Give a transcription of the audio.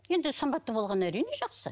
енді сымбатты болғаны әрине жақсы